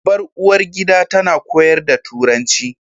Babbar uwargida tana koyar da Turanci